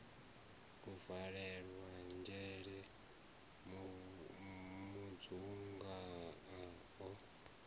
a valelwa dzhele mudzunga o